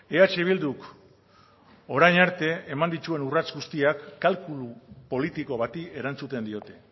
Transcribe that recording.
eh bilduk orain arte eman dituen urrats guztiak kalkulu politiko bati erantzuten diote